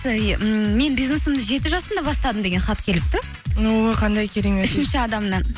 мен бизнесімді жеті жасымда бастадым деген хат келіпті о қандай керемет үшінші адамнан